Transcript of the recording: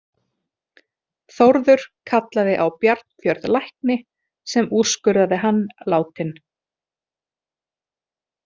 Þórður kallaði á Bjarnfjörð lækni sem úrskurðaði hann látinn.